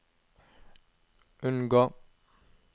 unngå